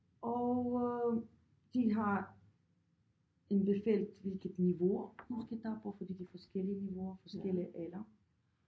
Og de har anbefalet hvilket niveauer hun skal tage på fordi det er forskellige niveauer forskellig alder